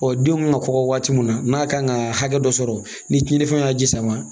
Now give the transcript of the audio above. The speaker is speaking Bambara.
Ɔ denw kan ka kɔkɔ waati mun na n'a kan ka hakɛ dɔ sɔrɔ ni tiɲɛnifɛnw y'a ji sama